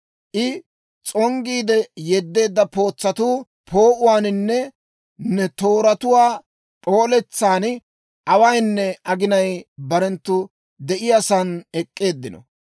I s'onggiide yeddeedda pootsatuu poo'uwaaninne ne tooratuwaa p'ooletsan awaynne aginay barenttu de'iyaa saan de'iyaa saan ek'k'eeddino.